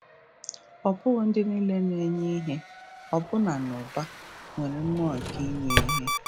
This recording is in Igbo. Ọ bụghị ndị nile na-enye ihe — ọbụna n’ụba — nwere mmụọ nke inye ihe.